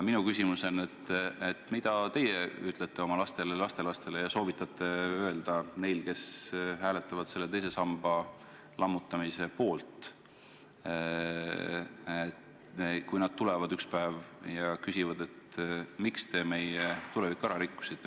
Minu küsimus on: mida teie ütlete oma lastele-lastelastele ja soovitate öelda neil, kes hääletavad teise samba lammutamise poolt, kui nende järeltulijad ühel päeval küsivad, miks te meie tuleviku ära rikkusite?